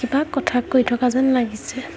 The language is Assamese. কিবা কথা কৈ থকা যেন লাগিছে।